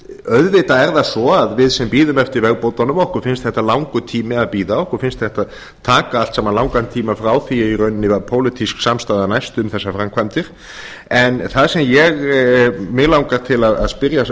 er það svo að við sem bíðum eftir vegabótunum okkur finnst þetta langur tími að bíða okkur finnst þetta taka allt saman langan tíma frá því í rauninni að pólitísk samstaða næst um þessar framkvæmdir en að sem mig langar til að spyrja